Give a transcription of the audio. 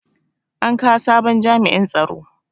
An kawo sabon jami'in tsaro.